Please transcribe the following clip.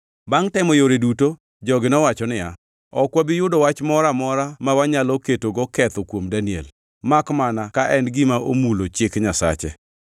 Bangʼ temo yore duto, jogi nowacho niya, “Ok wabi yudo wach moro amora ma wanyalo ketogo ketho kuom Daniel, makmana ka en gima omulo chik Nyasache.”